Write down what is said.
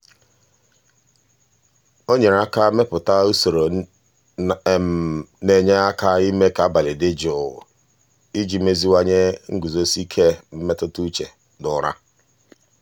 o nyere aka mepụta usoro na-enye aka ime ka abalị dị jụụ iji meziwanye nguzosi ike mmetụtauche na ụra.